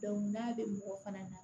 n'a bɛ mɔgɔ fana na